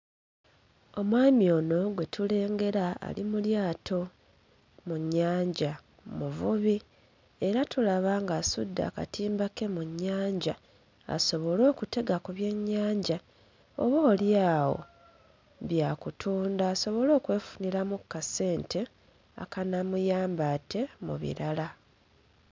Omwami ono gwe tulengera ali mu lyato mu nnyanja muvubi era tulaba nga asudde akatimba ke mu nnyanja asobole okutega ku byennyanja oboolyawo bya kutunda asobole okwefuniramu kkasente akanaamuyamba ate mu birala.